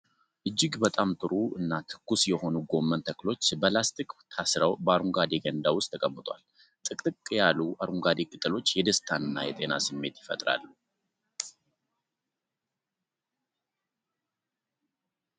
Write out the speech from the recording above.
እጅግ በጣም ጥሩ እና ትኩስ የሆኑ ጎመን ተክሎች በላስቲክ ታስረው በአረንጓዴ ገንዳ ውስጥ ተቀምጠዋል። ጥቅጥቅ ያሉ አረንጓዴ ቅጠሎች የደስታና የጤና ስሜት ይፈጥራሉ።